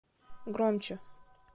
громче